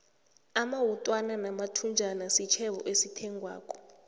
amawutwana namathunjana sitjhebo esithengwako